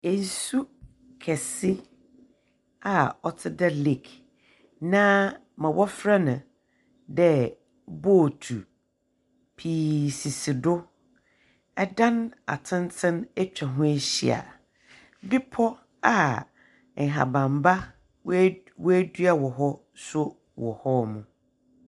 Nsu kɛse a ɔte dɛ lake na ma wɔfrɛ no dɛ bootu pii sisi do. Ɛdan atenten atwa ho ahyia. Bepɔ a nhabamba, woedua wɔ hɔ nso wɔ hɔnom.